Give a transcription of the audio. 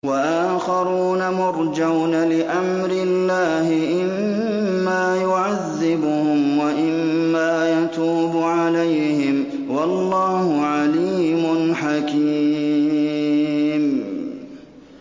وَآخَرُونَ مُرْجَوْنَ لِأَمْرِ اللَّهِ إِمَّا يُعَذِّبُهُمْ وَإِمَّا يَتُوبُ عَلَيْهِمْ ۗ وَاللَّهُ عَلِيمٌ حَكِيمٌ